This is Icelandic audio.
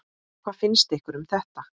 Hvað finnst ykkur um þetta?